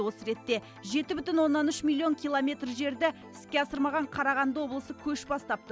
осы ретте жеті бүтін оннан үш миллион километр жерді іске асырмаған қарағанды облысы көш бастап тұр